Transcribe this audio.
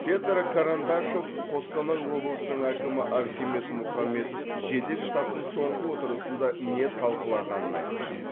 петр карандашов қостанай облысының әкімі архимед мұхамбетов жедел штабтың соңғы отырысында не талқыланғанын айтты